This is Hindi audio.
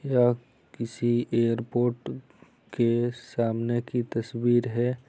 यह किसी एयरपोर्ट के सामने की तस्वीर है।